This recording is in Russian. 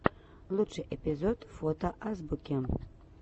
лучший эпизод фото азбуки